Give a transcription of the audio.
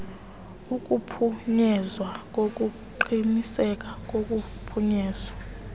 kuphunyezwa ngokuqinisekiswa kokufikelela